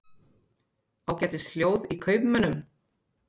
Ágætis hljóð í kaupmönnum